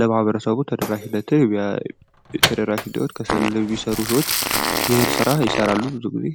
ለማህበረሰቡ ተደራሽ እንዲሆን ከሰልን የሚሰሩ ሰወች ይህን ስራ ይሰራሉ በዋነኝነት።